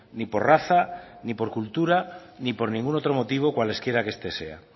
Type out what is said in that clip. ni por raza ni por cultura ni por ningún otro motivo cualesquiera que este sea